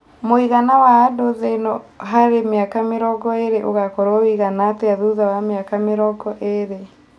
mũigana wa andũ thĩ ĩno harĩ miaka mĩrongo ĩrĩ ũgakorwo wĩigana atĩa thutha wa mĩaka mĩrongo ĩrĩ